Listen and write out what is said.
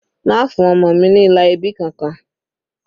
Má fún ọmọ mi ní ilà ẹbí kankan.